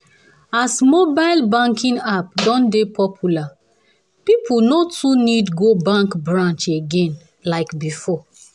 as mobile banking app don dey popular people no too need go bank branch again like before.